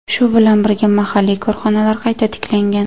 Shu bilan birga mahalliy korxonalar qayta tiklangan.